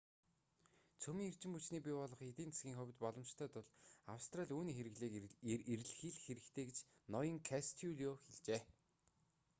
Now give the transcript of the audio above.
цөмийн эрчим хүчний бий болгох нь эдийн засгийн хувьд боломжтой тул австрали үүний хэрэглээг эрэлхийлэх хэрэгтэй гэж ноён костелло хэлжээ